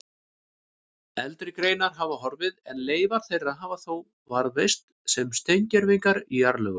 Eldri greinar hafa horfið en leifar þeirra hafa þó varðveist sem steingervingar í jarðlögum.